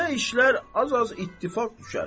Belə işlər az-az ittifaq düşər.